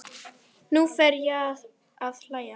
Nú fer ég að hlæja.